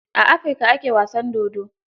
A Afirika, ake wasan dodo.